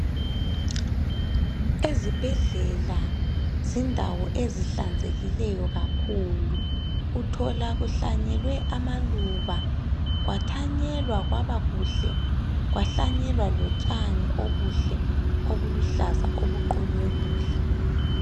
Ezibhedlela zindawo ezihlanzekileyo kakhulu Uthola kuhlanyelwe amaluba kwathanyelwa kwabakuhle kwahlanyelwa lontshani obuhle obuluhlaza obuqunywe kuhle